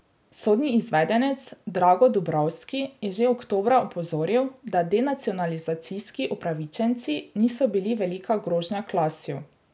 Sodni izvedenec Drago Dubrovski je že oktobra opozoril, da denacionalizacijski upravičenci niso bili velika grožnja Klasju.